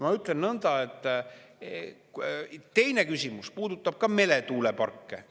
Ma ütlen nõnda, et teine küsimus puudutab ka meretuuleparke.